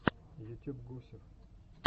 ютюб гусев